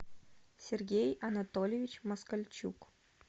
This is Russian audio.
сергей анатольевич москальчук